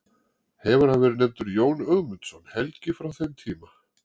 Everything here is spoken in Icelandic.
Hefur hann verið nefndur Jón Ögmundsson helgi frá þeim tíma.